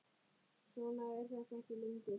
Svona er þetta ekki lengur.